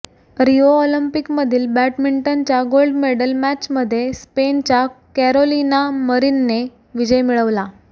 Rio ऑलिम्पिकमधील बॅडमिंटनच्या gold medal मॅचमध्ये स्पेनच्या कॅरोलिना मरिनने विजय मिळवला